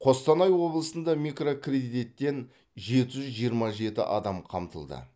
қостанай облысында микрокредиттен жеті жүз жиырма жеті адам қамтылды